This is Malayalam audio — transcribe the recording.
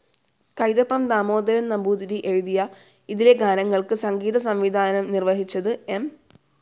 കൈതപ്രം ദാമോദരൻ നമ്പൂതിരി എഴുതിയ ഇതിലെ ഗാനങ്ങൾക്ക് സംഗീതസംവിധാനം നിർവഹിച്ചത് എം.